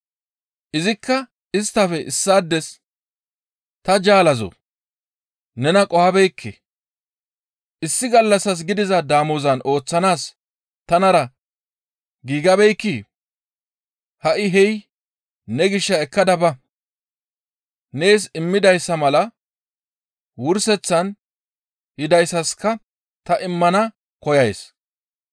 «Izikka isttafe issaades, ‹Ta jaalazoo! Nena qohabeekke; issi gallassas gidiza damozan ooththanaas tanara giigabeekkii? Ha7i hey ne gishaa ekkada ba; nees immidayssa mala wurseththan yidayssaska ta immana koyays.